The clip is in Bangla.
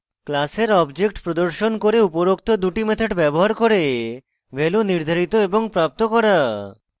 class object প্রদর্শন করে উপরোক্ত দুটি methods ব্যবহার করে values নির্ধারিত এবং প্রাপ্ত করা